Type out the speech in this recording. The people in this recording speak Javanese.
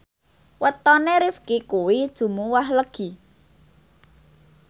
wetone Rifqi kuwi Jumuwah Legi